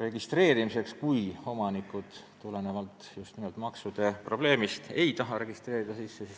registreerimiseks, kui omanikud just nimelt maksude maksmise pärast ei taha neid sisse registreerida.